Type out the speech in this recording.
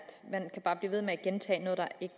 det